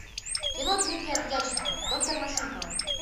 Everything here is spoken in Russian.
кино дмитрия дьяченко доктор машинкова